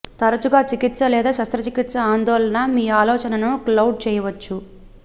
తరచుగా చికిత్స లేదా శస్త్రచికిత్స ఆందోళన మీ ఆలోచనను క్లౌడ్ చేయవచ్చు